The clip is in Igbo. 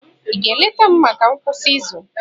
Ị ga-eleta m maka ngwụsị izu?